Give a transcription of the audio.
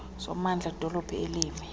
sommandla wedolophu elimi